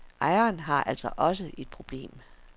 Ejeren har altså også et problem.